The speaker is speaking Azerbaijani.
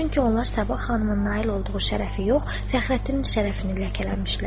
Çünki onlar Sabah xanımın nail olduğu şərəfi yox, Fəxrəddinin şərəfini ləkələmişlər.